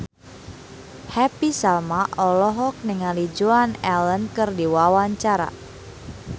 Happy Salma olohok ningali Joan Allen keur diwawancara